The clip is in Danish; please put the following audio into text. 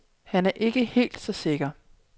Han er ikke helt så sikker.